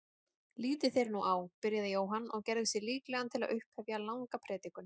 Lítið þér nú á, byrjaði Jóhann og gerði sig líklegan til að upphefja langa predikun.